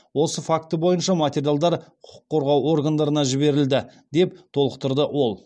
осы факті бойынша материалдар құқық қорғау органдарына жіберілді деп толықтырды ол